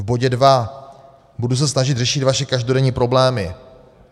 V bodě dva: "Budu se snažit řešit vaše každodenní problémy."